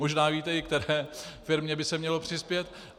Možná víte, i které firmě by se mělo přispět.